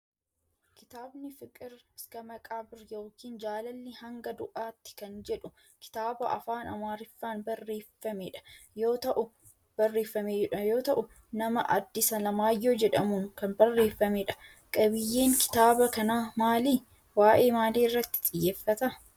Kitaabni Fiqir Iska Maqaabirr yookin jaalalli hanga du'aatti kan jedhu kitaaba afaan Amaarriffaan barreeffamedha yoo ta'u nama Addis Alamaayyoo jedhamuun kan barreeffamedha. qabiyyeen kitaaba kanaa maali? waa'ee maalii irratti xiyyeeffata?